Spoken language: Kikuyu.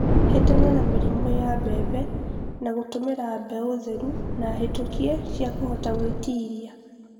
Hĩtana na mĩrimũ ya mbembe na gũtũmila mbeũ theru na hĩtũkie cia kũhota gwĩtilia